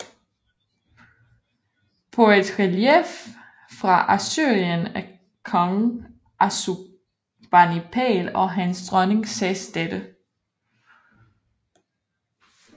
På et relief fra Assyrien af kong Assurbanipal og hans dronning ses dette